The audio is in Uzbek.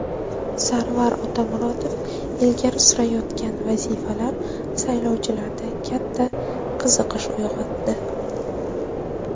Sarvar Otamuratov ilgari surayotgan vazifalar saylovchilarda katta qiziqish uyg‘otdi.